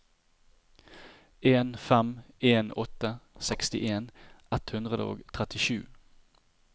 en fem en åtte sekstien ett hundre og trettisju